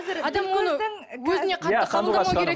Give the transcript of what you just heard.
адам оны өзіне қатты қабылдамау керек